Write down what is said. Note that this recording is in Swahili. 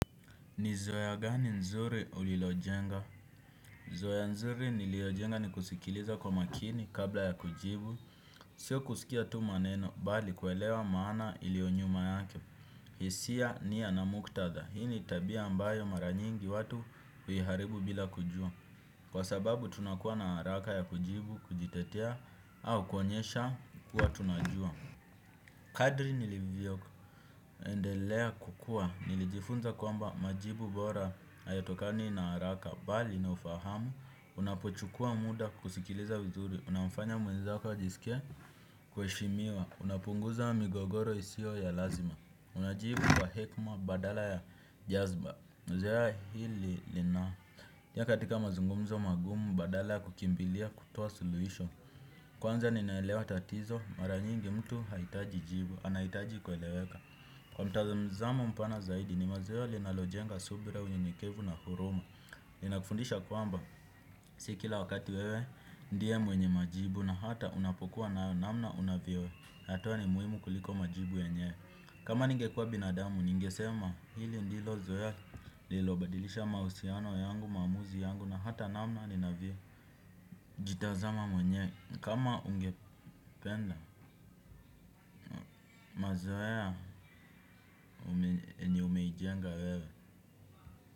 Nizoya gani nzuri ulilojenga? Nizoea nzuri niliojenga ni kusikiliza kwa makini kabla ya kujibu. Sio kusikia tu maneno, bali kuelewa maana ilionyuma yake. Hisia nia na muktadha. Hii ni tabia ambayo mara nyingi watu huiharibu bila kujua. Kwa sababu tunakuwa na haraka ya kujibu kujitetea au kuonyesha kuwa tunajua. Kadri nilivyo. Endelea kukua, nilijifunza kwamba majibu bora hayatokani na haraka. Bali na ufahamu, unapochukua muda kusikiliza wizuri unafanya mwezako ajisike kuheshimiwa. Unapunguza migogoro isio ya lazima. Unajibu kwa hekima badala ya jazba zoea hili lina katika mazungumzo magumu badala ya kukimbilia kutoa suluisho. Kwanza ninaelewa tatizo, mara nyingi mtu haitaji jibu. Anahitaji kueleweka. Kwa mtazamo mpana zaidi ni mazoea linalojenga subira unyenyekevu na huruma. Linakufundisha kwamba si kila wakati wewe ndiye mwenye majibu na hata unapokuwa nayo namna unavyo yatoa ni muhimu kuliko majibu yenyewe. Kama ningekuwa binadamu ningesema hili ndilo zoea lilobadilisha mahusiano yangu maamuzi yangu na hata namna ninavyo jitazama mwenyewe kama ungependa mazoea yenye umeijenga wewe.